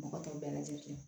Mɔgɔ t'o bɛɛ lajɛlen kɛ